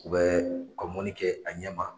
U bɛ ka mɔnni kɛ, a ɲɛma